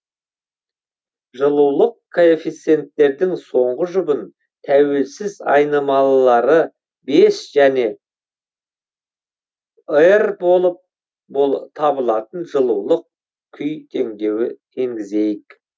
жылулық коэффиценттердің соңғы жұбын тәуелсіз айнымалылары бес және р болып табылатын жылулық күй теңдеуі енгізейік